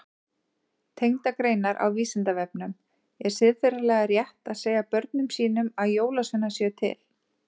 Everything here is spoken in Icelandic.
Tengdar greinar á Vísindavefnum Er siðferðilega rétt að segja börnum sínum að jólasveinar séu til?